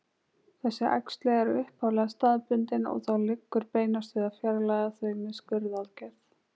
Þessi æxli eru upphaflega staðbundin og þá liggur beinast við að fjarlægja þau með skurðaðgerð.